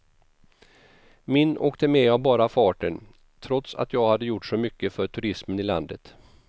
Min åkte med av bara farten, trots att jag hade gjort så mycket för turismen i landet.